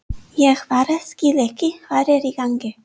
Ég bara skil ekki hvað er í gangi.